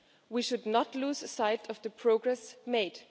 We should not lose sight of the progress made.